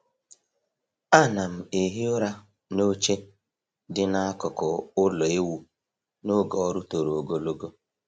A na'm ehi ụra n’oche dị n’akụkụ ulọ ewu n’oge ọrụ toro ogologo.